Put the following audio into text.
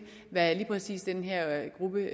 hvad lige præcis den her gruppe